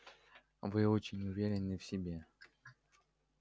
вы очень уверены в себе